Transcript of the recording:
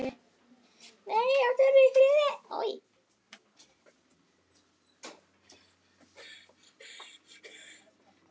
Sekt, vonleysi og skömm helltist yfir mig.